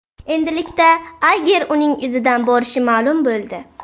Endilikda Ayger uning izidan borishi ma’lum bo‘ldi.